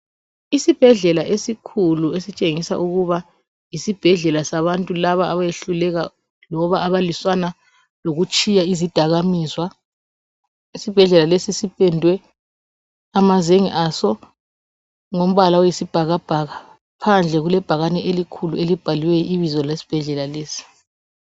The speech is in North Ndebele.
Isibhedlela esikhulu esitshengisa ukuba yisibhedlela sabantu labo abehluleka loba abalwisana lokutshiya izidakamizwa. Isibhedlela lesi sipendiwe amazenge aso ngombala oyisibhakabhaka phandle kulebhakane elikhulu elibhaliweyo ibizo lesibhedlela lesi.